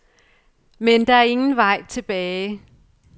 Men der er ingen vej tilbage.